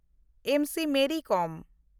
ᱮᱢ. C. Mary ᱠᱚᱢ